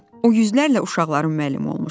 O yüzlərlə uşaqların müəllimi olmuşdu.